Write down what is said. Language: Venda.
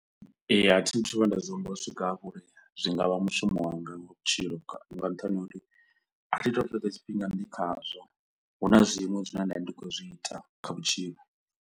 Ee, thi thu vhuya nda zwi humbula u swika hafho uri zwi nga vha mushumo wanga nga vhutshilo nga nṱhani ha uri athi to fhedza tshifhinga ndi kha zwo, huna zwiṅwe zwine nda vha ndi khou zwi ita kha vhutshilo.